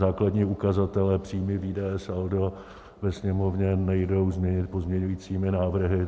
Základní ukazatele - příjmy, výdaje, saldo - ve Sněmovně nejdou změnit pozměňovacími návrhy.